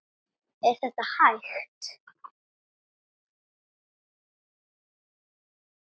Er þetta hægt?